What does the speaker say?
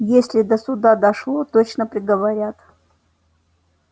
если до суда дошло точно приговорят